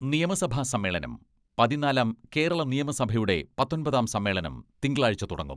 നിയമസഭാ സമ്മേളനം പതിനാലാം കേരള നിയമസഭയുടെ പത്തൊമ്പതാം സമ്മേളനം തിങ്കളാഴ്ച തുടങ്ങും.